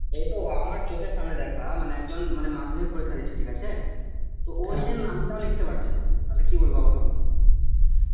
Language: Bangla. এই তো আমার চোখের সামনে দেখা মানে একজন মানে মাধ্যমিক পরীক্ষা দিচ্ছে ঠিক আছে তো ও নিজের নামটাও লিখতে পড়ছে না তো কি বলবো বলো